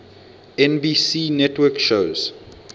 nbc network shows